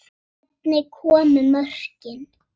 Hvernig komu mörkin?